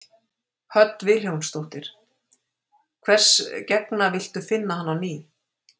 Hödd Vilhjálmsdóttir: Hvers gegna villtu finna hann á ný?